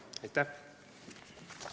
Aitäh!